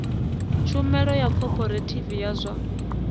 tshumelo ya khophorethivi ya zwa